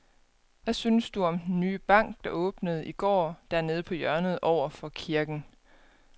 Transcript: Hvad synes du om den nye bank, der åbnede i går dernede på hjørnet over for kirken?